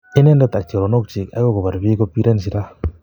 inendet ak choronokyig, agor kopar piik ko pireen silaa